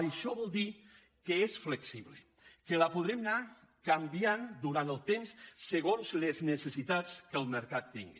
això vol dir que és flexible que la podrem anar canviant durant el temps segons les necessitats que el mercat tingui